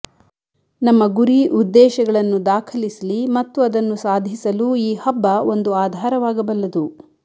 ನಮ್ಮ ಗುರಿ ಉದ್ದೇಶಗಳನ್ನು ದಾಖಲಿಸಲಿ ಮತ್ತು ಅದನ್ನು ಸಾಧಿಸಲು ಈ ಹಬ್ಬ ಒಂದು ಆಧಾರವಾಗಬಲ್ಲದು